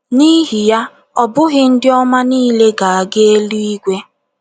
N’ihi ya, ọ bụghị ndị ọma niile ga - aga eluigwe.